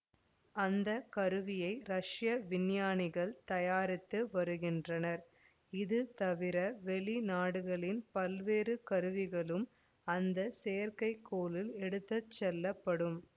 அந்த கருவியை ரஷ்ய விஞ்ஞானிகள் தயாரித்து வருகின்றனர் இது தவிர வெளிநாடுகளின் பல்வேறு கருவிகளும் அந்த செயற்கை கோளில் எடுத்து செல்லப்படும்